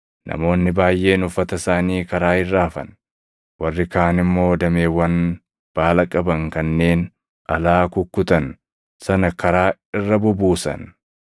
Namoonni baayʼeen uffata isaanii karaa irra afan; warri kaan immoo dameewwan baala qaban kanneen alaa kukkutan sana karaa irra bubuusan.